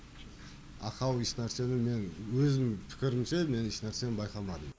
ақау ешнәрсені мен өзім пікірімше мен ешнәрсе байқамадым